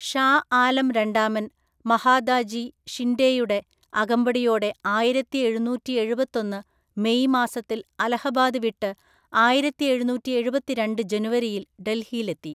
ഷാ ആലം രണ്ടാമൻ മഹാദാജി ഷിൻഡെയുടെ അകമ്പടിയോടെ ആയിരത്തിഎഴുനൂറ്റിഎഴുപത്തൊന്നു മെയ് മാസത്തിൽ അലഹബാദ് വിട്ട് ആയിരത്തിഎഴുനൂറ്റിഎഴുപത്തിരണ്ട് ജനുവരിയിൽ ഡൽഹിയിലെത്തി.